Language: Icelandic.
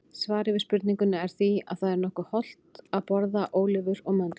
Svarið við spurningunni er því að það er nokkuð hollt að borða ólívur og möndlur.